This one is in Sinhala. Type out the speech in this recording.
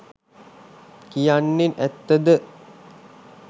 කියන්නෙ ඇත්ත ද?